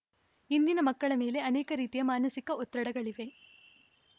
ಇಂದಿನ ಮಕ್ಕಳ ಮೇಲೆ ಅನೇಕ ರೀತಿಯ ಮಾನಸಿಕ ಒತ್ತಡಗಳಿವೆ